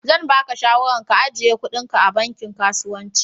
Zan ba ka shawaran ka ijiye kuɗin ka a banki kasuwanci.